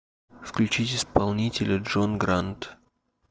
включить исполнителя джон грант